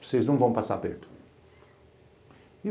Vocês não vão passar aperto.